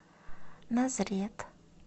назрет